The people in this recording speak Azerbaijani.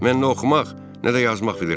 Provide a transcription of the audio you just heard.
Mən nə oxumaq, nə də yazmaq bilirəm.